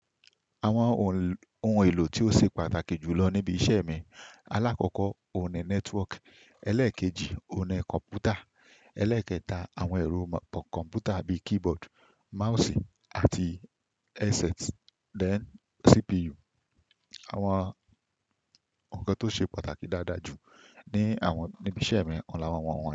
Àwọn ohun èlò tí ó ṣe pàtàkì jù lọ níbi iṣẹ́ mi, alákọ̀ọ́kọ oní network, ẹlẹ́ẹ̀kejì oní kọ̀ǹpútà, ẹlẹ́ẹ̀kẹta àwọn ẹ̀rọ kọ̀ǹpútà bíi keyboard, mouse àti headset, then CPU. Àwọn nǹkan tó ṣe pàtàkì dáadáa jù ní àwọn níbi iṣẹ́ mi ni àwọn.